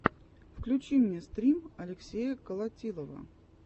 включи мне стрим алексея колотилова